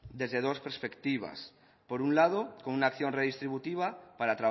desde dos perspectivas por un lado con una acción redistributiva para